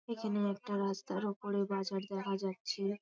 এখেনে একটা রাস্তার ওপরে বাজার দেখা যাচ্ছে ।